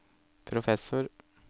professor